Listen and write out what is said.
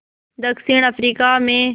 दक्षिण अफ्रीका में